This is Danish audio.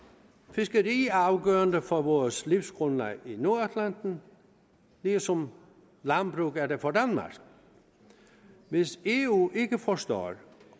fiskeri er afgørende for vores livsgrundlag i nordatlanten ligesom landbruget er det for danmark hvis eu ikke forstår